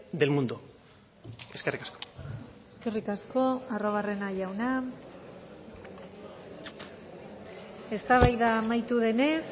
del mundo eskerrik asko eskerrik asko arruabarrena jauna eztabaida amaitu denez